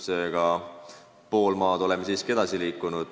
Seega, pool maad oleme siiski edasi liikunud.